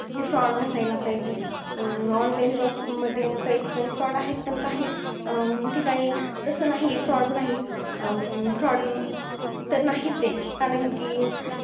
ते fraud नसायला पाहिजे. अं online job मध्ये काही ठिकाणी fraud आहेत. पण काही ठिकाणी, तसं नाही, fraud नाही. अं fraud तर नाहीचे. कारण कि,